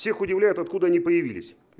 всех удивляет откуда они появились